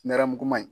Nɛrɛmuguman in